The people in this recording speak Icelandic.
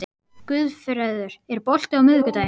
Guðfreður, er bolti á miðvikudaginn?